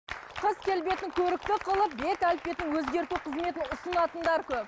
қыз келбетін көрікті қылып бет әлпетін өзгерту қызметін ұсынатындар көп